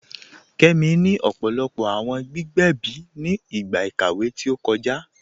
Kẹmi ni ọpọlọpọ awọn gbígbẹ̀bí ni igba ikàwé tó kọja.